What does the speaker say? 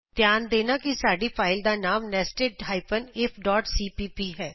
ਧਿਆਨ ਦੇਣਾ ਕਿ ਸਾਡੀ ਫਾਈਲ ਦਾ ਨਾਮ nested ifਸੀਪੀਪੀ ਹੈ